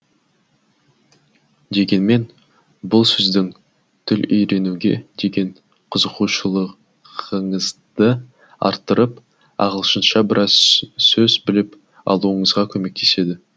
дегенмен бұл сіздің тіл үйренуге деген қызығушылығыңызды арттырып ағылшынша біраз сөз біліп алуыңызға көмектеседі